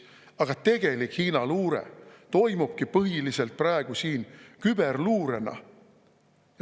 Aga tegelik Hiina luure toimubki põhiliselt praegu siin küberluurena.